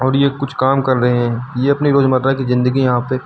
ये कुछ काम कर रहे हैं ये अपनी रोजमर्रा की जिंदगी यहां पे--